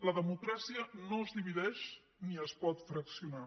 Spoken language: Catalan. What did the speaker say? la democràcia no es divideix ni es pot fraccionar